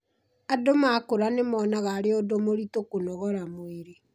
andũ makũra nĩmonaga arĩ ũndũ mũritũ kũnogora mwĩrĩ